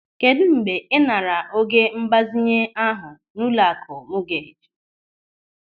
Kedụ mgbe ị naara oge mgbazinye ahụ n'ụlọakụ mọgeeji?